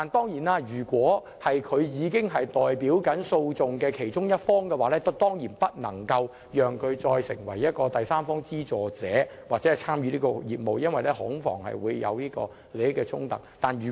可是，如果有關律師正代表訴訟的其中一方，他當然不能為第三方資助者或參與相關業務，恐防引起利益衝突。